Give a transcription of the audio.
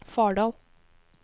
Fardal